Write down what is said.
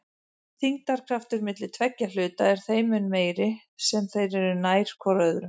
Þyngdarkraftur milli tveggja hluta er þeim mun meiri sem þeir eru nær hvor öðrum.